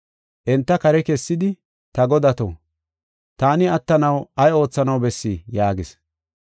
Enta kare kessidi, “Ta godato, taani attanaw ay oothanaw bessii?” yaagis.